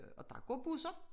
Og der går busser